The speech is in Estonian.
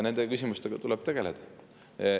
Nende küsimustega tuleb tegeleda.